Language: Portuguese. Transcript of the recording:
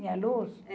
Tinha luz?